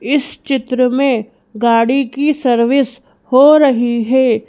इस चित्र में गाड़ी की सर्विस हो रही है।